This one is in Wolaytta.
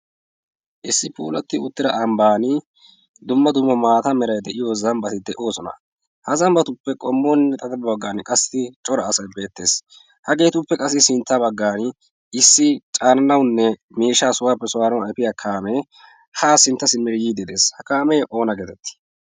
issi puulatti uttira ambban dumma dumma maata merai de7iyo zambbati de7oosona. ha zambbatuppe qommonne xata baggan qassi cora asai beettees ha geetuppe qassi sintta baggan issi caananaunne miishaa sohuwaappe suwaaranau efiyaa kaamee ha sinttasi mer yiiddi dees ha kaamee oona geetettii?